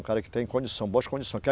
É um cara que tem condição, boas condições.